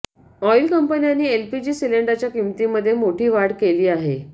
oil कंपन्यांनी LPG सिलेंडरच्या किंमतीमध्ये मोठी वाढ केली आहे